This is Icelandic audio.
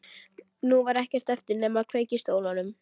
Nú var ekkert eftir nema að kveikja í stólnum.